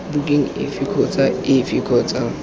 bukeng efe kgotsa efe kgotsa